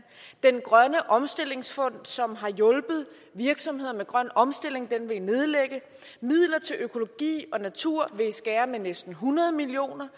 grøn omstillingsfond som har hjulpet virksomheder med grøn omstilling vil i nedlægge midler til økologi og natur vil i skære ned med næsten hundrede million kroner